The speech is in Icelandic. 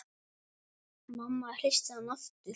Mamma hristi hann aftur.